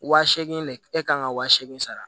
Wa seegin de e kan ka wa seegin sara